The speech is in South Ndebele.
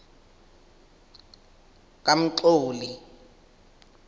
kamxoli